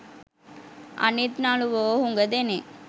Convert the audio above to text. අනිත් නළුවෝ හුඟ දෙනෙක්